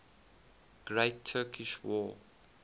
great turkish war